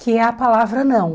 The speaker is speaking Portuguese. Que é a palavra não.